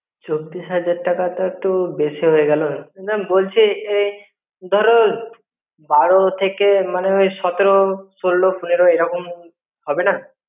চব্বিশ হাজার টাকা তো একটু বেশি হয়ে গেলো. কিন্তু আমি বলছি যে ধরো বারো থেকে মনে ওই সতেরো ষোলো পনেরো এরকম হবেনা?